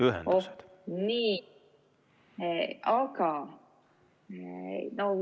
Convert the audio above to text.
Ühendused.